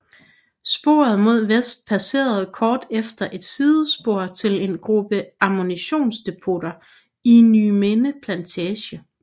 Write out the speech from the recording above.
Sporet mod vest passerede kort efter et sidespor til en gruppe ammunitionsdepoter i Nyminde Plantage